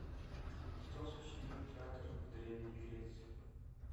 кто сочинил театр в древней греции